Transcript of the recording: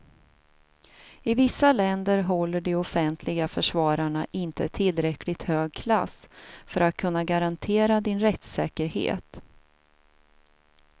I vissa länder håller de offentliga försvararna inte tillräckligt hög klass för att kunna garantera din rättssäkerhet.